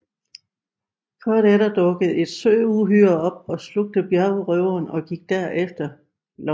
Kort efter dukkede et søuhyre op og slugte bjergrøveren og gik derefter efter Luffy